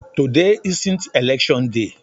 Today isn't election day.